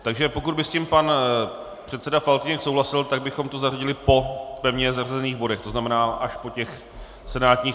Takže pokud by s tím pan předseda Faltýnek souhlasil, tak bychom to zařadili po pevně zařazených bodech, to znamená až po těch senátních.